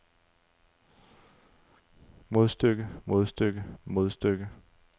modstykke modstykke modstykke